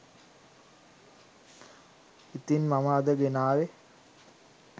ඉතිං මම අද ගෙනාවේ